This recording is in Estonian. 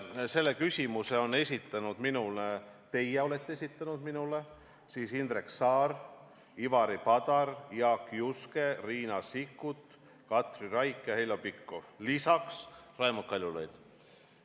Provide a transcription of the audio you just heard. Selle küsimuse olete teie esitanud minule: Indrek Saar, Ivari Padar, Jaak Juske, Riina Sikkut, Katri Raik ja Heljo Pikhof, lisaks Raimond Kaljulaid.